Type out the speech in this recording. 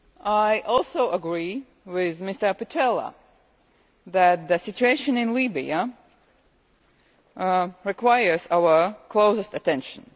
I also agree with Mr Pittella that the situation in Libya requires our closest attention.